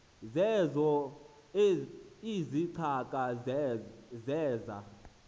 zeezo izicaka zeza